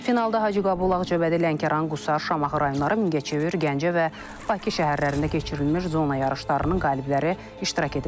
Finalda Hacıqabul, Ağcabədi, Lənkəran, Qusar, Şamaxı rayonları, Mingəçevir, Gəncə və Bakı şəhərlərində keçirilmiş zona yarışlarının qalibləri iştirak ediblər.